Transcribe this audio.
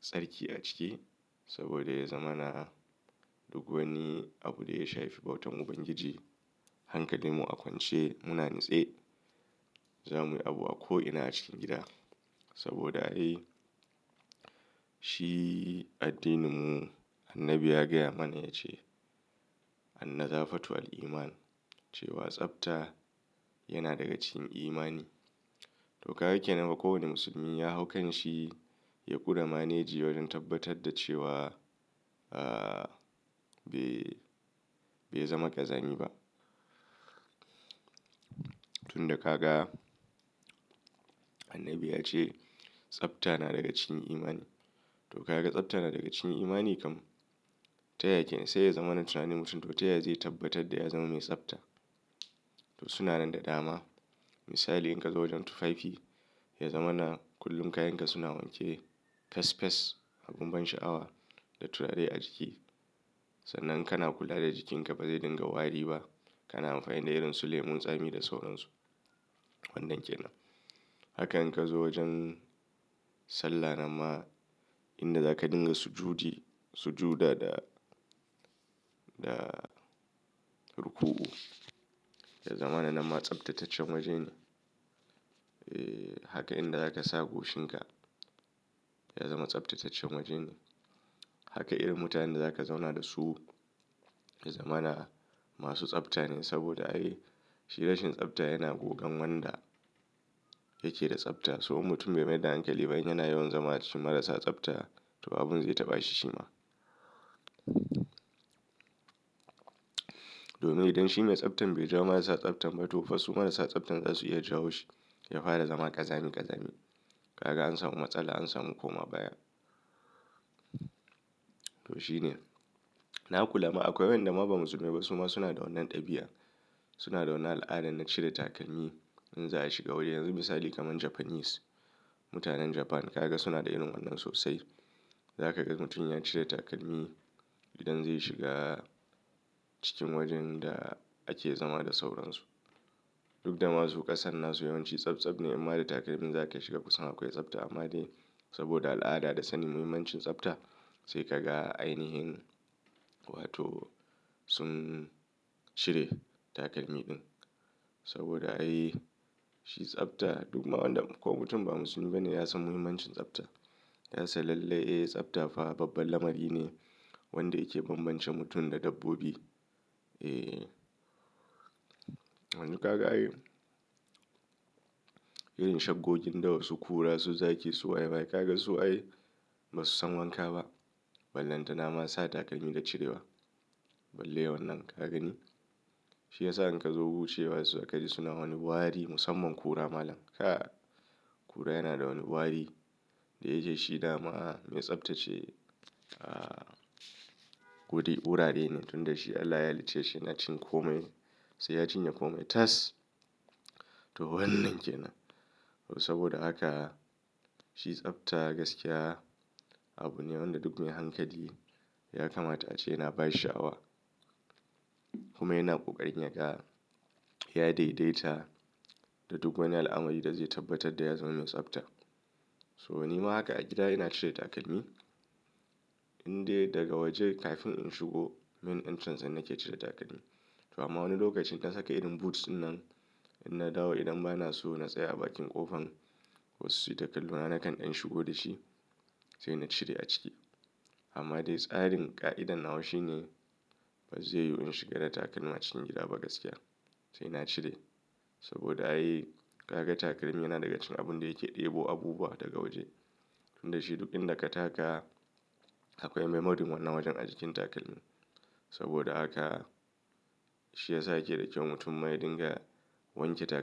tsarki a ciki saboda ya zama na duk wani abu da ya shafi bautan Ubangiji. Hankalin mu a kwance muna nitse zamuyi abu a ko'ina a cikin gida. Saboda ai shi addininmu Annabi ya gaya mana yace annazafatu wal iman cewa tsafta yana daga cikin imani to, kaga ke nan ga kowane musulmi ya hau kanshi ya ƙure maneji wajen tabbatar da cewa, be bai zama ƙazami ba. Tun da ka ga Annabi ya ce tsafta na daga cikin imani. To, kaga tsafta na daga cikin imani kam. Ta yakenan sai ya zama na tunanin mutum to ta ya zai tabbatar da ya zama mai tsafta. To suna nan da dama. Misali ka zo wajen tufafi ya zama na kullum kayan ka suna wanke fes fes a bun ban sha'awa da turare a jiki. Sannan kana kula da jikin ka ba zai dinga wari ba. Kana amfani da irin su lemon tsami da sauransu. Wannan ke nan. Haka in ka zo wajen sallah nan ma inda zaka dinga sujudi, suju'da da ruku'u, ya zama na nanma tsaftataccen waje ne. Haka inda zaka sa goshin ka ya zama tsabtataccen waje ne. Haka irin mutanen da zaka zauna da su ya zama na masu tsafta ne saboda ai shi rashin tsafta yana gogan wanda yake da tsafta. So mutum bai ma da hankali ba in yana yawan zama a cikin marasa tsafta to abun zai taɓa shi shi ma. Domin inshi mai tsaftan beja marasa tsaftan ba tofa su marassa tsaftan zasu iya jawo shi Ya fara zama ƙazamin ƙazami. Kaga an samu matsala an samu koma baya. To shine. Na kula ma akwai wayanda ma ba musulmai ba suma suna da wannan ɗabi'a. Suna da wannan al'adan na cire takalmi in za a shiga waje. Yanzu misali kaman Japanese, mutanen Japan. Kaga suna da irin wannan sosai. Za ka ga mutum ya cire takalmi idan zai shiga cikin wajen da ake zama da sauransu. Duk da masu ƙasan nan su yawan ci tsaf tsaf ne inma da takalmin za ka shiga kusan akwai tsafta amma dai saboda al'ada da sannin muhimmancin tsafta sai ka ga ainihin wato sun cire takalmi ɗin. Saboda ai shi tsafta duk ma wanda ko mutum ba musulmi ba ne ya san muhimmancin tsafta. Ya san lallai, ee tsafta fa babban lamari ne wanda yake bambance mutum da dabbobi. Yanzu kaga ai irin shakkokin dawa irinsu kura su zaki su waye waye kaga su ai ba su san wanka ba. Ballantana ma sa takalmi da cirewa. Balle wannan ka gani. Shi ya sa in ka zo wuce wa se kaji suna wani wari musamman kura malam kai. Kura yana da wani wari da yaje shi dama mai tsaftace, gudun ɓura nene tun da shi Allah ya halicceshi na cin kome sai ya cinye kome tas. To wannan ke nan. Saboda haka shi tsafta gaskiya abu ne wanda duk mai hankali ya kama ta ce yana ba shi sha'awa. Kuma yana ƙoƙarin ya ga ya daidaita da duk wani al'amari da zai tabbatar da ya zama mai tsafta. To ni ma haka a gida ina cire takalmi indai daga waje kafin in shigo main entrance nan nake cire takalmi. To amma wani lokacin in na saka irin booth ɗin nan idan na dawo idan ba na so na tsaya a bakin ƙofan wasu suyi ta kallo na nakan ɗan shigo dashi sai na cire a ciki. Amma dai tsarin ƙa'idan nawa shine ba zai yiwu in shiga da takalma cikin gida ba gaskiya. Sai na cire saboda ai kaga takalmi yana daga cikin abunda yake ɗebo abubuwa daga waje. Tun da shi duk inda ka taka akwai memoryn wannan wajen a jikin takalmin. Saboda haka shi ya sa yake da kyau mutum ma ya dinga wanke takalmi.